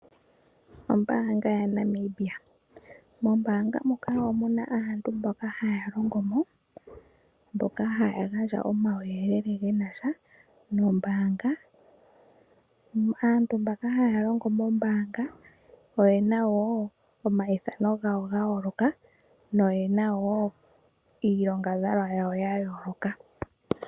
Ombaanga yaNamibia Mombanga muka omu na aantu mboka haya longo mo, mboka haya gandja omauyelele ge na sha nombaanga. Aantu mbaka haya longo mombaanga oye na wo omayithano gawo ga yooloka noye na wo iinakugwanithwa yawo ya yooloka.